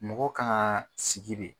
Mɔgɔw kan ka sigi de.